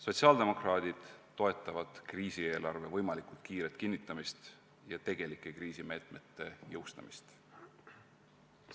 Sotsiaaldemokraadid toetavad kriisieelarve võimalikult kiiret kinnitamist ja tegelike kriisimeetmete jõustamist.